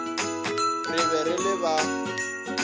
re be re le ba